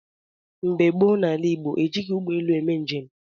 Mgbe gboo n’ala Igbo, ejighị ụgbọelu eme njem.